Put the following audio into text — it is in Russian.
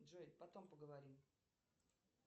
джой потом поговорим